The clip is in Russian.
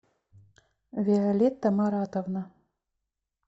виолетта маратовна